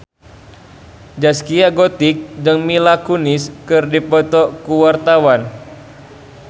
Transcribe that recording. Zaskia Gotik jeung Mila Kunis keur dipoto ku wartawan